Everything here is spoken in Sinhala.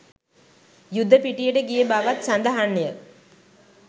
යුද පිටියට ගිය බවත් සඳහන් ය.